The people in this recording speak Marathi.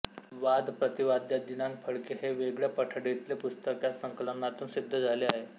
वाद प्रतिवादय दि फडके हे वेगळ्या पठडीतले पुस्तक या संकलनातून सिद्ध झाले आहे